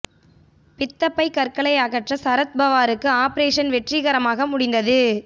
பித்தப் பை கற்களை அகற்ற சரத் பவாருக்கு ஆபரேஷன் வெற்றிகரமாக முடிந்தது